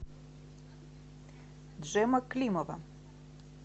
джема климова